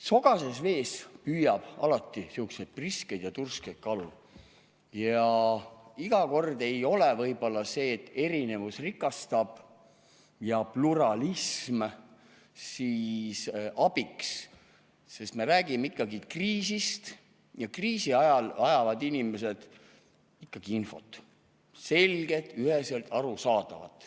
Sogases vees püüab alati sihukesi priskeid ja turskeid kalu ja iga kord ei ole võib-olla see, et erinevus rikastab, ja pluralism abiks, sest me räägime ikkagi kriisist ja kriisi ajal vajavad inimesed ikkagi infot – selget ja üheselt arusaadavat.